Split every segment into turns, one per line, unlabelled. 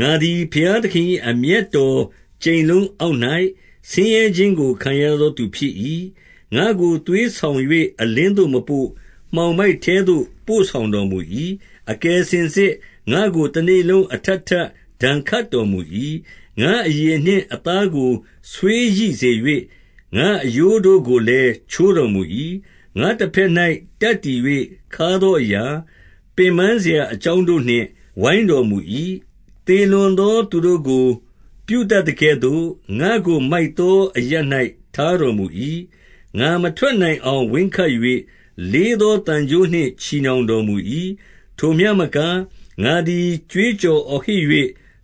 ငါသည် ဘုရားသခင်၏ အမျက်တော်ကြိမ်လုံး အောက်၌ ဆင်းရဲခြင်းကို ခံရသောသူဖြစ်၏။ ငါ့ကိုသွေးဆောင်၍ အလင်းသို့မပို့၊ မှောင်မိုက် ထဲသို့ ပို့ဆောင်တော်မူ၏။ အကယ်စင်စစ်ငါ့ကို တနေ့လုံးအထပ်ထပ် ဒဏ်ခတ်တော်မူ၏။ ငါ့အရေနှင့်အသားကို ဆွေးရိစေ၍ ငါ့အရိုး တို့ကိုလည်း ချိုးတော်မူ၏။ ငါ့တဘက်၌ တပ်တည်၍ခါးသောအရာ၊ ပင်ပန်းစရာအကြောင်းတို့နှင့် ပိုင်းတော်မူ၏။ သေလွန်သောသူတို့ကို ပြုတတ်သကဲ့သို့၊ ငါ့ကို မိုက်သောအရပ်၌ ထားတော်မူ၏။ ငါမထွက်နိုင်အောင် ဝင်းခတ်၍၊ လေးသော သံကြိုးနှင့် ချည်နှောင်တော်မူ၏။ ထိုမျှမကငါသည် ကြွေးကြော်အော်ဟစ်၍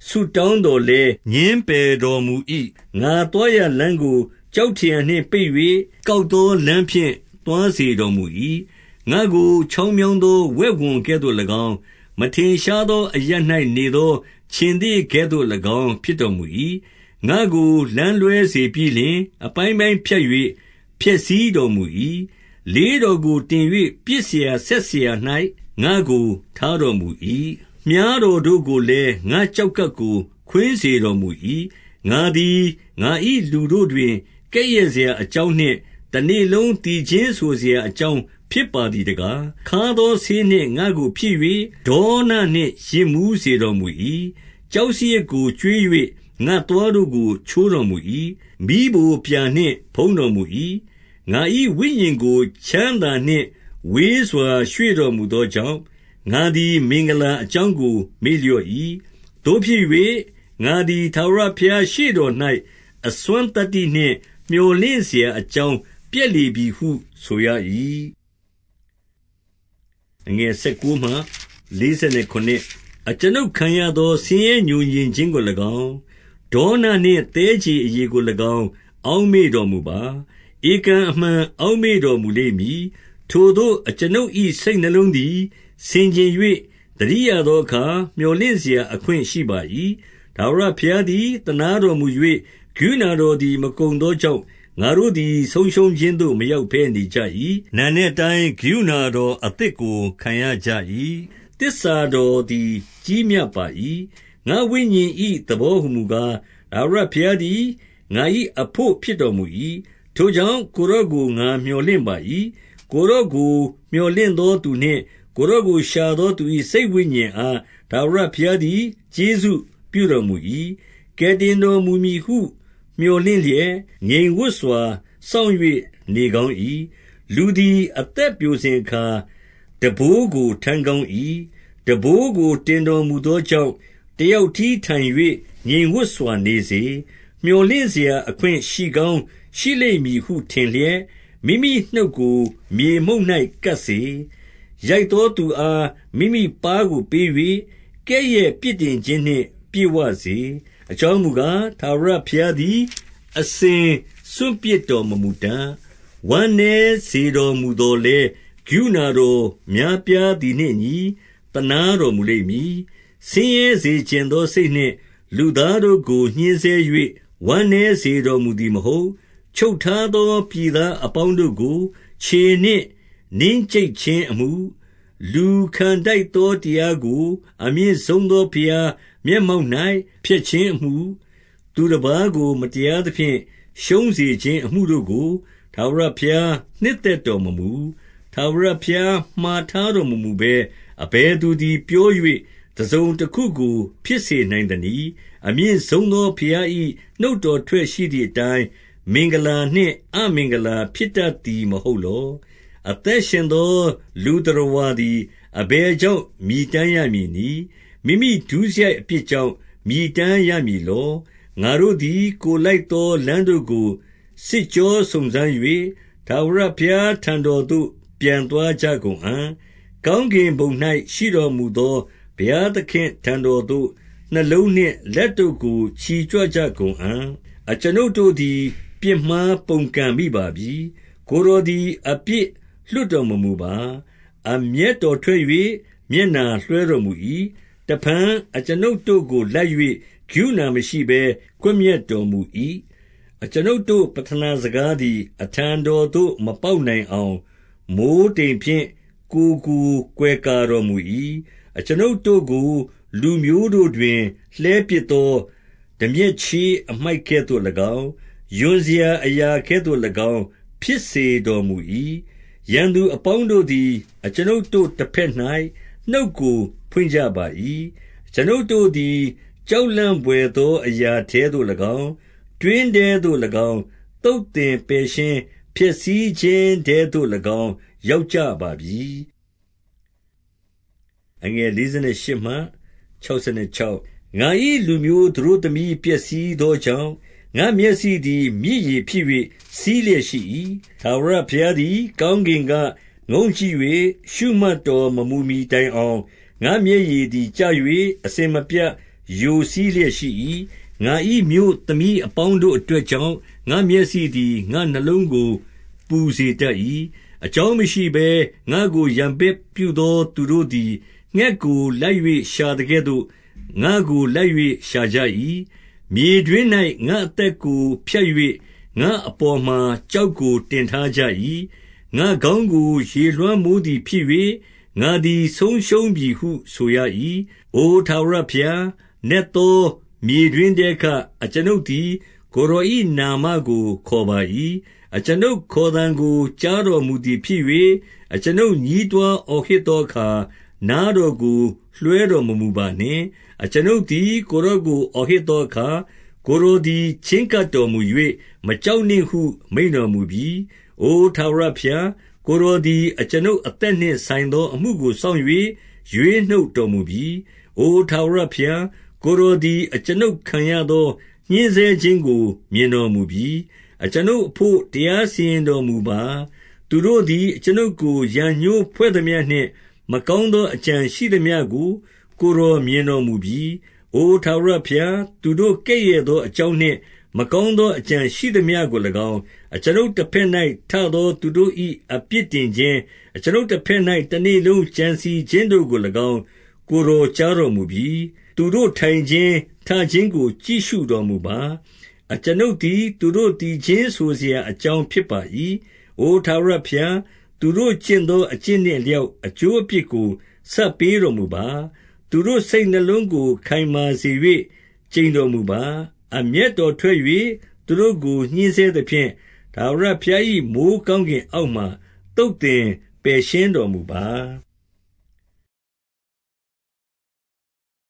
ဆုတောင်းသော်လည်း ငြင်းပယ်တော်မူ၏။ ငါသွားရာလမ်းကို ကျောက်ထရံနှင့်ပိတ်၍၊ ကောက်သောလမ်းဖြင့် သွားစေတော်မူ၏။ ငါ့ကို ချောင်းမြောင်းသောဝက်ဝံကဲ့သို့၎င်း၊ မထင်ရှားသော အရပ်၌နေသော ခြင်္သေ့ကဲ့သို့၎င်း ဖြစ် တော်မူ၏။ ငါ့ကိုလမ်းလွဲစေပြီးလျှင် အပိုင်းပိုင်းဖြတ်၍ ဖျက်ဆီးတော်မူ၏။ လေးတော်ကိုတင်၍ ပစ်စရာစက်အရာ၌ ငါ့ကို ထားတော်မူ၏။ မြှားတော်တို့ကိုလည်း၊ ငါ့ကျောက်ကပ်ကို ခွင်း စေတော်မူ၏။ ငါသည်ငါ၏လူတို့တွင် ကဲ့ရဲ့စရာအကြောင်းနှင့် တနေ့လုံး သီချင်းဆိုစရာအကြောင်း ဖြစ်ပါသည်တကား။ ခါးသောဆေးနှင့်ငါ့ကိုဖြည့်၍၊ ဒေါနနှင့်ယစ်မူး စေတော်မူ၏။ ကျောက်စရစ်ကိုကျွေး၍ ငါ့သွားတို့ကို ချိုးတော် မူ၏။ မီးဖိုပြာနှင့် ဖုံးတော်မူ၏။ ငါ၏ဝိညာဉ်ကို ချမ်းသာနှင့်ဝေးစွာ ရွေ့တော်မူ သောကြောင့်၊ ငါသည် မင်္ဂလာအကြောင်းကို မေ့လျော့ ၏။ သို့ဖြစ်၍၊ ငါသည် ထာဝရဘုရားရှေ့တော်၌ အစွမ်းသတ္တိနှင့် မြော်လင်စရာအကြောင်း ပျက်လေပြီဟု ဆိုရ၏။ အကျွန်ုပ်ခံရသော ဆင်းရဲငြိုငြင်ခြင်းကို၎င်း၊ ဒေါနနှင့် သည်းခြေအရည်ကို၎င်း အောက်မေ့တော်မူပါ။ ဧကန်အမှန်အောက်မေ့တော်မူလိမ့်မည်။ ထိုသို့အကျွန်ုပ်၏ စိတ်နှလုံးသည် ဆင်ခြင်၍ သတိရသောအခါ မြော်လင့်စရာအခွင့်ရှိပါ၏။ ထာဝရဘုရားသည် သနားတော်မူ၍ ကရုဏာ တော်သည် မကုန်သောကြောင့် ငါတို့သည် ဆုံးရှုံးခြင်းသို့ မရောက်ဘဲနေကြ၏။ နံနက်တိုင်းကရုဏာတော်အသစ်ကို ခံရကြ၏။ သစ္စာတော်သည် ကြီးမြတ်ပါ၏။ ငါ့ဝိညာဉ်၏ သဘောဟူမူကား၊ ထာဝရဘုရား သည် ငါ၏အဘို့ ဖြစ်တော်မူ၏။ ထိုကြောင့်၊ ကိုယ်တော် ကို ငါမြော်လင့်ပါ၏။ ကိုယ်တော်ကို မြော်လင့်သောသူနှင့် ကိုယ်တော် ကို ရှာသောသူ၏ စိတ်ဝိညာဉ်အား ထာဝရဘုရားသည် ကျေးဇူးပြုတော်မူ၏။ ကယ်တင်တော်မူမည်ဟု မြော်လင့်လျက်၊ ငြိမ်ဝပ်စွာ စောင့်၍ နေကောင်း၏။ လူသည်အသက်ပျိုစဉ်အခါ ထမ်းဘိုးကို ထမ်း ကောင်း၏။ ထမ်းဘိုးကို တင်တော်မူသောကြောင့် တယောက်တည်းထိုင်၍ ငြိမ်ဝပ်စွာနေစေ။ မြော်လင့်စရာအခွင့်ရှိကောင်းရှိလိမ့်မည်ဟု ထင်လျက်၊ မိမိနှုတ်ကို မြေမှုန့်၌ကပ်စေ။ ရိုက်သောသူအား မိမိပါးကိုပေး၍၊ ကဲ့ရဲ့ပြစ်တင် ခြင်းနှင့်ပြည့်ဝစေ။ အကြောင်းမူကား၊ ထာဝရဘုရားသည် အစဉ် စွန့်ပစ်တော်မမူတတ်။ ဝမ်းနည်းစေတော်မူသော်လည်း၊ ကရုဏာတော် များပြားသည်နှင့်အညီ သနားတော်မူလိမ့်မည်။ ဆင်းရဲစေချင်သော စိတ်နှင့်လူသားတို့ကို ညှဉ်းဆဲ၍ ဝမ်းနည်းစေတော်မူသည်မဟုတ်။ ချုပ်ထားသော ပြည်သားအပေါင်းတို့ကို ခြေနှင့် နင်းကြိတ်ခြင်းအမှု၊ လူခံထိုက်သောတရားကို အမြင့်ဆုံးသော ဘုရား မျက်မှောက်၌ ဖျက်ခြင်းအမှု၊ သူတပါးကိုမတရားသဖြင့် ရှုံးစေခြင်းအမှုတို့ကို ထာဝရဘုရားနှစ် သက်တော်မမူ။ ထာဝရဘုရားမှာထားတော်မမူဘဲ၊ အဘယ်သူ သည် ပြော၍တစုံတခုကို ဖြစ်စေနိုင်သနည်း။ အမြင့်ဆုံးသော ဘုရား၏နှုတ်ထွက်ရှိသည် အတိုင်း အမင်္ဂလာနှင့် အမင်္ဂလာဖြစ်တတ်သည် မဟုတ် လော။ အသက်ရှင်သောလူသတ္တဝါသည် အဘယ် ကြောင့် မြည်တမ်းရမည်နည်း။ မိမိဒုစရိုက်အပြစ်ကြောင့် မြည်တမ်းရမည်လော။ ငါတို့သည်ကိုယ်လိုက်သောလမ်းတို့ကို စစ်ကြော စုံစမ်း၍၊ ထာဝရဘုရားထံတော်သို့ ပြန်သွားကြကုန်အံ့။ ကောင်းကင်ဘုံ၌ရှိတော်မူသော ဘုရားသခင့် ထံတော်သို့ နှလုံးနှင့်လက်တို့ကို ချီကြွကြကုန်အံ့။ အကျွန်ုပ်တို့သည် ပြစ်မှား ပုန်ကန်မိပါပြီ။ ကိုယ်တော်သည် အပြစ်လွှတ်တော်မမူပါ။ အမျက်တော်ထွက်၍ မျက်နှာလွှဲတော်မူ၏။ တဖန်အကျွန်ုပ်တို့ကိုလိုက်၍ ကရုဏာမရှိဘဲ ကွပ်မျက် တော်မူ၏။ အကျွန်ုပ်တို့ ပဌနာစကားသည် အထံတော်သို့ မပေါက်နိုင်အောင်၊ မိုဃ်းတိမ်ဖြင့်ကိုယ်ကို ကွယ်ကာ တော်မူ၏။ အကျွန်ုပ်တို့ကိုလူမျိုးတို့တွင် လှည်းပစ်သော တန်မြက်ချေး အမှိုက်ကဲ့သို့၎င်း၊ ရွံစရာအရာကဲ့သို့၎င်း ဖြစ်စေတော်မူ၏။ ရန်သူအပေါင်းတို့သည် အကျွန်ုပ်တို့တဘက်၌ နှုတ်ကိုဖွင့်ကြပါ၏။ အကျွန်ုပ်တို့သည် ကြောက်လန့်ဘွယ်သော အရာထဲသို့၎င်း၊ တွင်းထဲသို့၎င်း၊ သုတ်သင်ပယ်ရှင်း ဖျက်ဆီးခြင်းထဲသို့၎င်း ရောက်ကြပါပြီ။ ငါ၏လူမျိုးသတို့သမီးပျက်စီးသောကြောင့်၊ ငါမျက်စိသည်မြစ်ရေဖြစ်၍ စီးလျက်ရှိ၏။ ထာဝရဘုရားသည် ကောင်းကင်က ငုံ့ကြည့်၍ ရှုမှတ်တော်မမူမှီတိုင်အောင်၊ ငါ့မျက်ရည်သည် ကျ၍ အစဉ်မပြတ် ယိုစီးလျက်ရှိ၏။ ငါ၏မြို့သမီးအပေါင်းတို့အတွက်ကြောင့်၊ ငါမျက်စိသည် ငါ့နှလုံးကို ပူစေတတ်၏။ အကြောင်းမရှိဘဲ ငါ့ကိုရန်ပြုသောသူတို့သည် ငှက်ကိုလိုက်၍ ရှာသကဲ့သို့ ငါ့ကိုလိုက်၍ ရှာကြ၏။ မြေတွင်း၌ ငါ့အသက်ကို ဖြတ်၍ ငါ့အပေါ်မှာ ကျောက်ကို တင်ထားကြ၏။ ငါ့ခေါင်းကို ရေလွှမ်းမိုးသည်ဖြစ်၍၊ ငါသည် ဆုံးရှုံးပြီဟု ဆိုရ၏။ အိုထာဝရဘုရား၊ နက်သော မြေတွင်းထဲက အကျွန်ုပ်သည် ကိုယ်တော်၏နာမကို ခေါ်ပါ၏။ အကျွန်ုပ်ခေါ်သံကို ကြားတော်မူသည်ဖြစ်၍၊ အကျွန်ုပ်ညည်းတွားအော်ဟစ်သောအခါ နားတော်ကို လွှဲတော်မမူပါနှင့်။ အကျွန်ုပ်သည် ကိုယ်တော်ကို ဟစ်ခေါ်သော အခါ၊ ကိုယ်တော်သည် ချဉ်းကပ်တော်မူ၍၊ မကြောက်နှင့် ဟု မိန့်တော်မူပြီ။ အိုထာဝရဘုရား၊ ကိုယ်တော်သည် အကျွန်ုပ် အသက်နှင့် ဆိုင်သောအမှုကိုစောင့်၍ ရွေးနှုတ်တော်မူပြီ။ အိုထာဝရဘုရား၊ ကိုယ်တော်သည် အကျွန်ုပ် ခံရသော ညှဉ်းဆဲခြင်းကို မြင်တော်မူပြီ။ အကျွန်ုပ်အဘို့ တရားစီရင်တော်မူပါ။ သူတို့သည် အကျွန်ုပ်ကို ရန်ငြိုးဖွဲ့သမျှနှင့် မကောင်းသော အကြံရှိသမျှကို ကိုယ်တော်မြင်တော်မူပြီ။ အိုထာဝရဘုရား၊ သူတို့ကဲ့ရဲ့သောအကြောင်း နှင့်မကောင်း သောအကြံရှိသမျှကို၎င်း၊ အကျွန်ုပ်တဘက်၌ ထသောသူတို့၏ အပြစ်တင် ခြင်း၊ အကျွန်ုပ်တဘက်၌ တနေ့လုံးကြံစည်ခြင်းကို၎င်း ကိုယ်တော်ကြားတော်မူပြီ။ သူတို့ထိုင်ခြင်း၊ ထခြင်းကိုကြည့်ရှုတော်မူပါ။ အကျွန်ုပ်သည် သူတို့သီချင်းဆိုစရာအကြောင်းဖြစ်ပါ၏။ အိုထာဝရဘုရား၊ သူတို့ကျင့်သော အကျင့်နှင့် အလျောက်အကျိုးအပြစ်ကို ဆပ်ပေးတော်မူပါ။ သူတို့စိတ်နှလုံးကိုခိုင်မာစေ၍ ကျိန်တော်မူပါ။ အမျက်တော်ထွက်၍ သူတို့ကို ညှဉ်းဆဲသဖြင့်၊ ထာဝရဘုရား၏ မိုဃ်းကောင်းကင်အောက်မှ သုတ်သင် ပယ်ရှင်းတော်မူပါ။